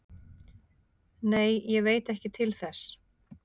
Nei, ég veit ekki til þess